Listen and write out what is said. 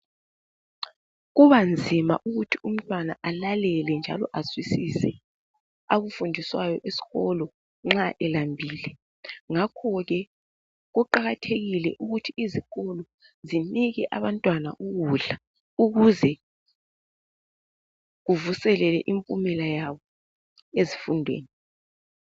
Kubanzima ukuthi umntwana alalele njalo azwisise akufundiswayo eskolo nxa elambile, ngakhoke kuqakathekile ukuthi izikolo zinike abantwana ukudla ukuze kuvuseleke impumela yabo ezifundweni.